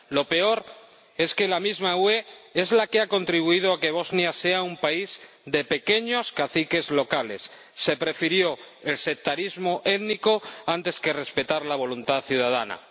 Lo peor es que la misma UE es la que ha contribuido a que Bosnia sea un país de pequeños caciques locales se antepuso el sectarismo étnico al respeto de la voluntad ciudadana.